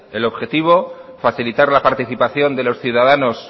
el objetivo es facilitar la participación de los ciudadanos